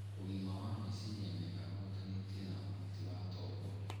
Ũgima wa meciria mega ũhutanĩtie na ũhoti wa tombo